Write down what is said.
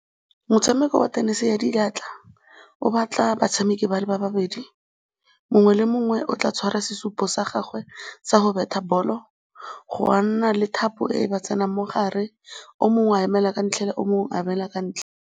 Motshameko wa tenese ya diatla o batla batshameki ba le babedi, mongwe le mongwe o tla tshwara sesupo sa gagwe sa go betha ball-o, ga nna le thapo e e ba tsenang mo gare, o mongwe wa emela ka tlhela o mongwe a emela ka ntlhela.